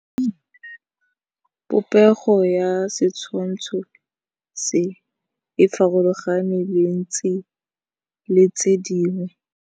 Popêgo ya setshwantshô se, e farologane le tse dingwe.